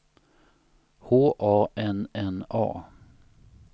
H A N N A